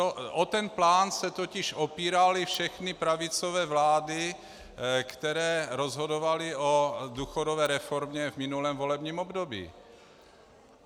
O ten plán se totiž opíraly všechny pravicové vlády, které rozhodovaly o důchodové reformě v minulém volebním období.